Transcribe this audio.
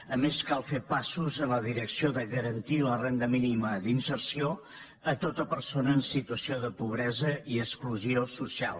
a més cal fer passos en la direcció de garantir la renda mínima d’inserció a tota persona en situació de pobresa i exclusió social